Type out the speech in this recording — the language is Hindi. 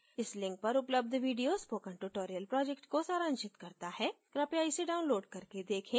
इस link पर उपलब्ध video spoken tutorial project को सारांशित करता है कृपया इसे download करके देखें